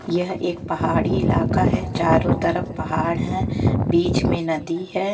यह एक पहाड़ी इलाका है चारों तरफ पहाड़ है बीच में नदी है।